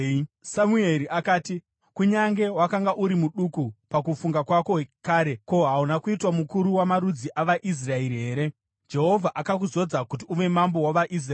Samueri akati, “Kunyange wakanga uri muduku pakufunga kwako kare, ko, hauna kuitwa mukuru wamarudzi avaIsraeri here? Jehovha akakuzodza kuti uve mambo wavaIsraeri.